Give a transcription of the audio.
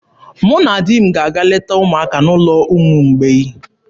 Mụ na di m ga-aga leta ụmụaka n'ụlọ ụmụ mgbei.